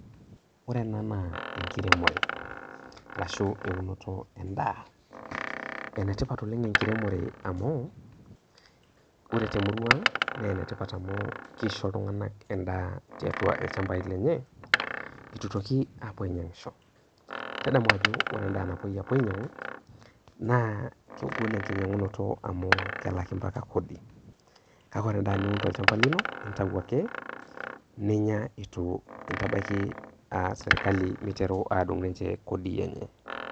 Ore ena naa enkiremore arashu eunoto endaa, enetipat oleng' enkiremore amuu, ore temurua ang' naa enetipat amuu keisho iltung'anak endaa tiatua ilchambai lenye, eitu eitoki aapuo ainyiang'isho. Tadamu ajo ore en'daa napuoi ainyiang'u naa kegol enkinyiang'unoto amuu kelaki mpaka kodi kake ore en'daa niun tolchamba lino, naa intayu ake ninya eitu intabaiki sirkali meiteru aadung' ninche kodii enye.